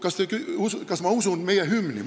Kas ma usun meie hümni?